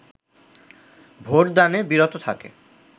vote দানে বিরত থাকে